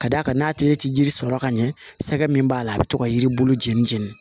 Ka d'a kan n'a tigi tɛ yiri sɔrɔ ka ɲɛ sɛgɛ min b'a la a bɛ to ka yiri bolo jeni jeni